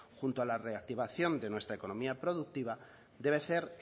junto a la reactivación de nuestra economía productiva debe ser